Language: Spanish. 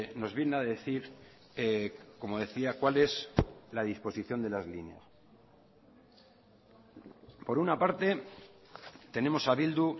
nos viene a decir como decía cuál es la disposición de las líneas por una parte tenemos a bildu